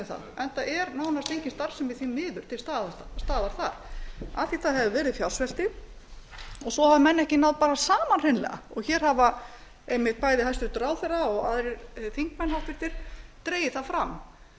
það enda er nánast engin starfsemi því miður til staðar þar af því það hefur verið fjársvelti og svo hafa menn ekki náð saman hreinlega hér hafa einmitt bæði hæstvirtan ráðherra og aðrir þingmenn háttvirtur dregið það fram